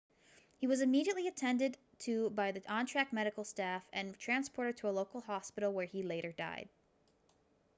he was immediately attended to by the on-track medical staff and transported to a local hospital where he later died